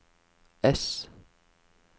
ess